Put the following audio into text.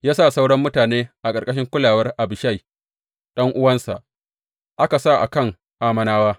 Ya sa sauran mutanen a ƙarƙashin kulawar Abishai ɗan’uwansa, aka sa a kan Ammonawa.